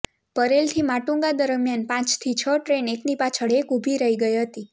પરેલથી માટુંગા દરમ્યાન પાંચથી છ ટ્રેન એકની પાછળ એક ઊભી રહી ગઈ હતી